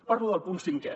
parlo del punt cinquè